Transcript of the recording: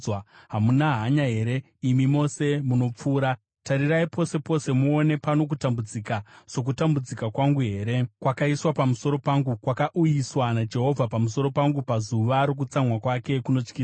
“Hamuna hanya here, imi mose munopfuura? Tarirai pose pose muone. Pano kutambudzika sokutambudzika kwangu here, kwakaiswa pamusoro pangu, kwakauyiswa naJehovha pamusoro pangu pazuva rokutsamwa kwake kunotyisa?